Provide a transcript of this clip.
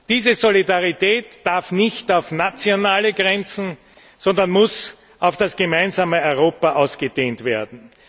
Diese Solidarität darf nicht auf nationale Grenzen beschränkt, sondern muss auf das gemeinsame Europa ausgedehnt werden.